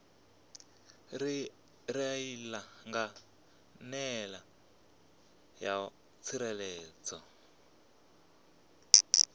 reila nga nḓila yo tsireledzeaho